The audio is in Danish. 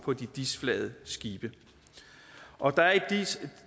på de dis flagede skibe og der er i